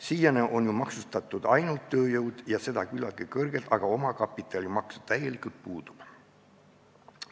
Siiani on ju maksustatud ainult tööjõudu ja seda küllaltki kõrgelt, aga omakapitalimaks täielikult puudub.